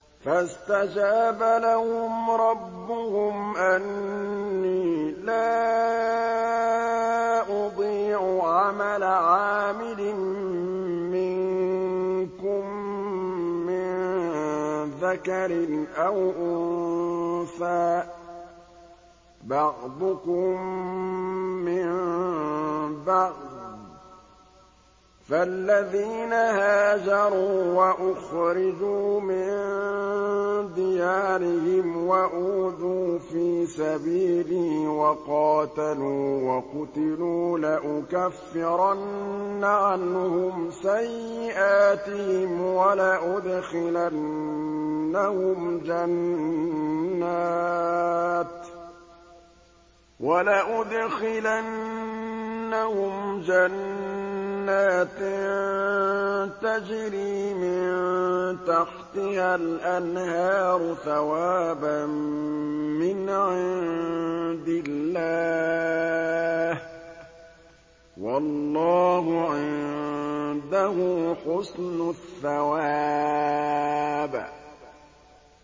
فَاسْتَجَابَ لَهُمْ رَبُّهُمْ أَنِّي لَا أُضِيعُ عَمَلَ عَامِلٍ مِّنكُم مِّن ذَكَرٍ أَوْ أُنثَىٰ ۖ بَعْضُكُم مِّن بَعْضٍ ۖ فَالَّذِينَ هَاجَرُوا وَأُخْرِجُوا مِن دِيَارِهِمْ وَأُوذُوا فِي سَبِيلِي وَقَاتَلُوا وَقُتِلُوا لَأُكَفِّرَنَّ عَنْهُمْ سَيِّئَاتِهِمْ وَلَأُدْخِلَنَّهُمْ جَنَّاتٍ تَجْرِي مِن تَحْتِهَا الْأَنْهَارُ ثَوَابًا مِّنْ عِندِ اللَّهِ ۗ وَاللَّهُ عِندَهُ حُسْنُ الثَّوَابِ